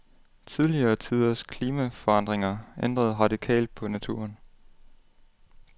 Tidligere tiders klimaforandringer ændrede radikalt på naturen.